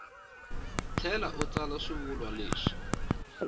tlhela u tsala swivulwa leswi